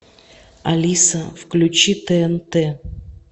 алиса включи тнт